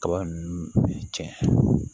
Kaba ninnu cɛn